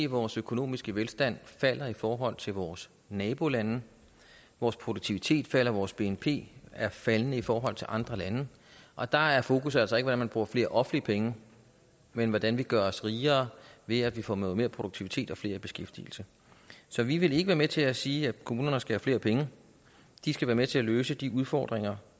vores økonomiske velstand falder i forhold til vores nabolande vores produktivitet falder og vores bnp er faldende i forhold til andre lande og der er fokus altså ikke på hvordan man bruger flere offentlige penge men hvordan vi gør os rigere ved at vi får noget mere produktivitet og flere i beskæftigelse så vi vil ikke være med til at sige at kommunerne skal have flere penge de skal være med til at løse de udfordringer